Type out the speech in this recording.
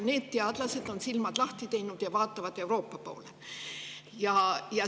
Need teadlased on silmad lahti teinud ja vaatavad Euroopa poole.